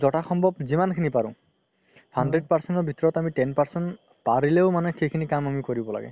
যিমান খিনি পাৰো hundred percent ৰ ভিতৰত আমি ten percent পাৰিলেও মানে আমি সিখিনি কাম কৰিব লাগে